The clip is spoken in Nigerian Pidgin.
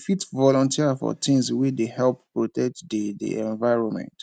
we fit volunteer for things wey dey help protect di di environment